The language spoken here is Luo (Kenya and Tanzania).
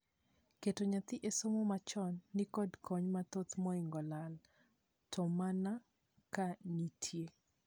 Keto nyathi e somo ma chon nikod kony mathoth moingo lal. To mano man ka nitie.